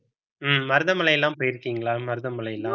ஹம் மருதமலை எல்லாம் போயிருக்கீங்களா மருதமலை எல்லாம்